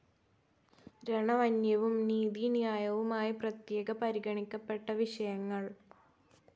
രണവന്യവും നീതിന്യായവുമായി പ്രത്യേക പരിഗണിക്കപ്പെട്ട വിഷയങ്ങൾ.